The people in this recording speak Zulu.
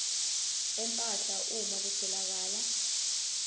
empahla uma kutholakala